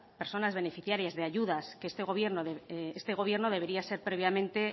personas beneficiarias de ayudas gobierno debería ser previamente